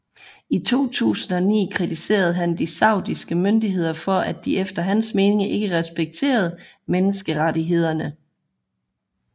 I 2009 kritiserede han de saudiske myndigheder for at de efter hans mening ikke respekterede menneskerettighederne